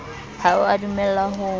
ha o a dumellwa ho